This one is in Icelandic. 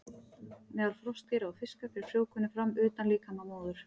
Meðal froskdýra og fiska fer frjóvgunin fram utan líkama móður.